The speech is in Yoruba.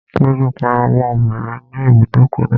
Péjú pariwo mọ́ obìnrin ní ibùdókọ̀ náà